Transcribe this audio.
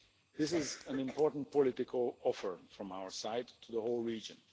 This is an important political offer from our side to the whole region.